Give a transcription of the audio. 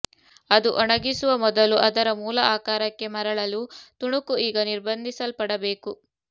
ಅದು ಒಣಗಿಸುವ ಮೊದಲು ಅದರ ಮೂಲ ಆಕಾರಕ್ಕೆ ಮರಳಲು ತುಣುಕು ಈಗ ನಿರ್ಬಂಧಿಸಲ್ಪಡಬೇಕು